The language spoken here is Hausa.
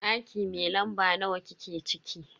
Daki mai lamba nawa kike ciki?